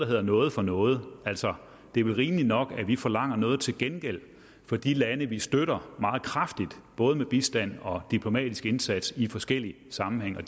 hedder noget for noget altså det er vel rimeligt nok at vi forlanger noget til gengæld af de lande vi støtter meget kraftigt både med bistand og diplomatisk indsats i forskellige sammenhænge og